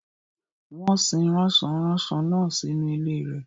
Wọ́n sin rasọ-ranso náà sínú ilé rẹ̀.